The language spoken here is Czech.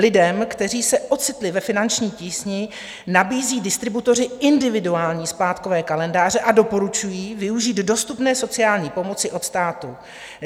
Lidem, kteří se ocitli ve finanční tísni, nabízí distributoři individuální splátkové kalendáře a doporučují využít dostupné sociální pomoci od státu.